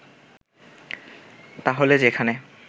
তাহলে যেখানে